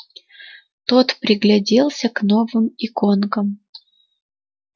тот пригляделся к новым иконкам